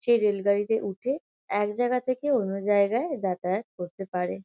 সেই রেল গাড়িতে উঠে একজায়গা থেকে অন্য জায়গায় যাতায়াত করতে পারে।